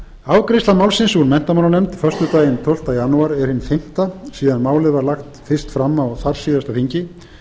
afgreiðsla málsins úr menntamálanefnd föstudaginn tólfta janúar er hin fimmta frá því að málið var lagt fram á þar síðasta þingi